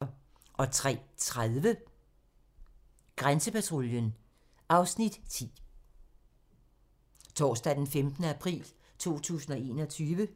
Torsdag d. 15. april 2021